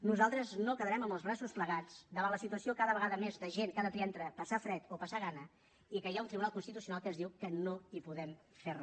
nosaltres no ens quedarem amb els braços plegats davant la situació cada vegada més de gent que ha de triar entre passar fred o passar gana i que hi ha un tribunal constitucional que ens diu que no hi podem fer re